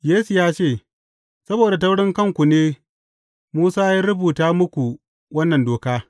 Yesu ya ce, Saboda taurin kanku ne, Musa ya rubuta muku wannan doka.